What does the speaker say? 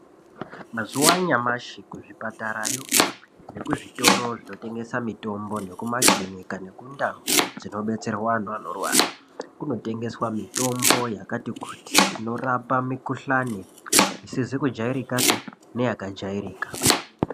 Mazuva anyamashi kuzvipatarayo nekuzvitoro zvinotengeswa mitombo nekumakiriniki nekundau dzinobetserwa antu anorwara kunotengeswa mitombo yakati kuti inorapa mikuhlani isizi kujairikapi neya kajairika.